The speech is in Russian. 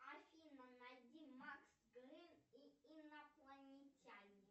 афина найди макс грин и инопланетяне